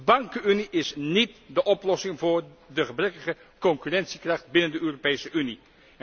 De bankenunie is niet de oplossing voor de gebrekkige concurrentiekracht binnen de Europese Unie.